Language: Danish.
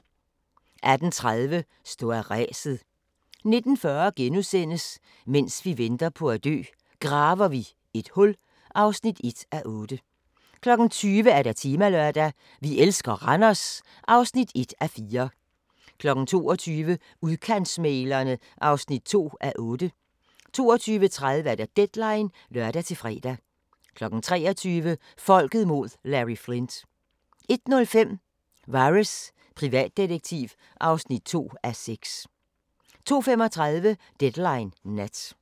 18:30: Stå af ræset 19:40: Mens vi venter på at dø – Graver vi et hul (1:8)* 20:00: Temalørdag: Vi elsker Randers (1:4) 22:00: Udkantsmæglerne (2:8) 22:30: Deadline (lør-fre) 23:00: Folket mod Larry Flynt 01:05: Vares, privatdetektiv (2:6) 02:35: Deadline Nat